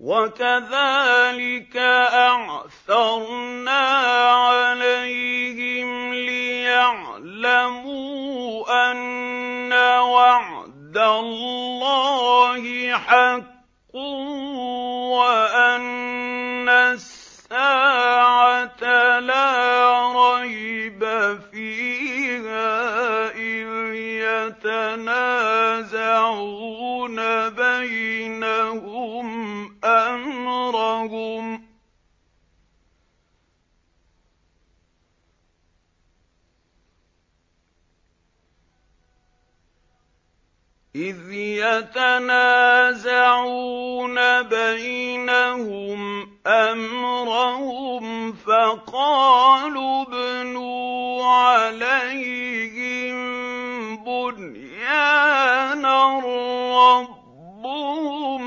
وَكَذَٰلِكَ أَعْثَرْنَا عَلَيْهِمْ لِيَعْلَمُوا أَنَّ وَعْدَ اللَّهِ حَقٌّ وَأَنَّ السَّاعَةَ لَا رَيْبَ فِيهَا إِذْ يَتَنَازَعُونَ بَيْنَهُمْ أَمْرَهُمْ ۖ فَقَالُوا ابْنُوا عَلَيْهِم بُنْيَانًا ۖ رَّبُّهُمْ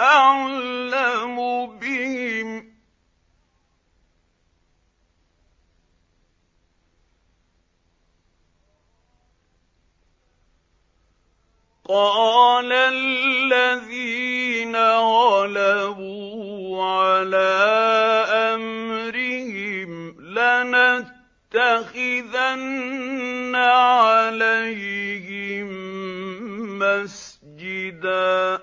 أَعْلَمُ بِهِمْ ۚ قَالَ الَّذِينَ غَلَبُوا عَلَىٰ أَمْرِهِمْ لَنَتَّخِذَنَّ عَلَيْهِم مَّسْجِدًا